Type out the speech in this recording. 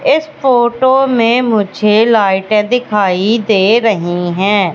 इस फोटो में मुझे लाइट दिखाई दे रही हैं।